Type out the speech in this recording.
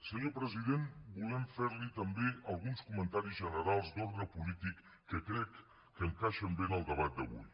senyor president volem fer li també alguns comentaris generals d’ordre polític que crec que encaixen bé en el debat d’avui